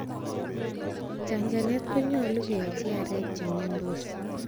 Chachanet konyolu keyochi aarek che miondos.